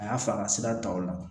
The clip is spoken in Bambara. A y'a fɔ a ka sira ta o la